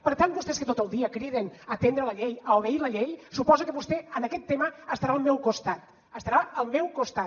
per tant vostès que tot el dia criden a atendre la llei a obeir la llei suposo que vostè en aquest tema estarà al meu costat estarà al meu costat